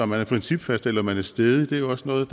man er principfast eller man er stædig er jo også noget